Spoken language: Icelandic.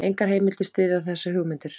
Engar heimildir styðja þessar hugmyndir.